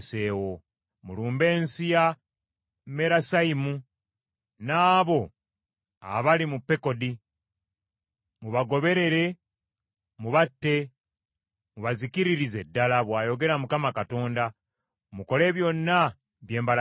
“Mulumbe ensi ye Merasayimu n’abo abali mu Pekodi. Mubagoberere mubatte, mubazikiririze ddala,” bw’ayogera Mukama Katonda. “Mukole byonna bye mbalagidde.